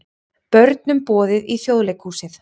Börnum boðið í Þjóðleikhúsið